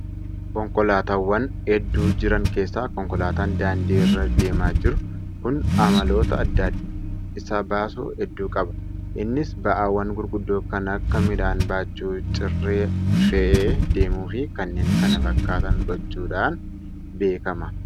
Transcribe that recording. Konkolaataawwan hedduu jiran keessaa konkolaataan daandii irra deemaa jiru kun amaloota adda isa baasu hedduu qaba. Innis ba'aawwan gurguddoo kan akka midhaan baachuu, cirra fe'ee deemuu fi kanneen kana fakkaatan gochuudhaan beekama.